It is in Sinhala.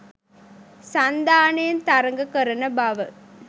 සන්ධානයෙන් තරග කරන බව